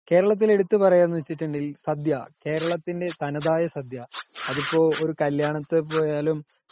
കേരളത്തിലെ എടുത്തു പറയുവാ എന്ന് വെച്ചിട്ടുണ്ടെങ്കിൽ ,സദ്യ, കേരളത്തിന്റെ തനതായ സദ്യ .അതിപ്പോ ഒരു കല്യത്തിന് പോയാലും